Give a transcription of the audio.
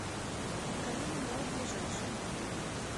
калина молл ближайший